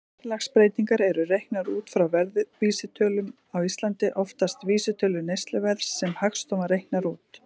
Verðlagsbreytingar eru reiknaðar út frá verðvísitölum, á Íslandi oftast vísitölu neysluverðs sem Hagstofan reiknar út.